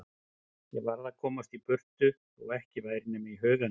Ég varð að komast burt þótt ekki væri nema í huganum.